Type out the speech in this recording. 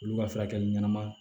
Olu ka furakɛli ɲɛnama